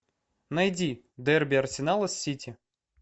найди дерби арсенала с сити